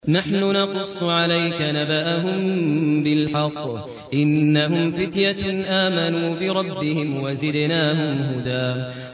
نَّحْنُ نَقُصُّ عَلَيْكَ نَبَأَهُم بِالْحَقِّ ۚ إِنَّهُمْ فِتْيَةٌ آمَنُوا بِرَبِّهِمْ وَزِدْنَاهُمْ هُدًى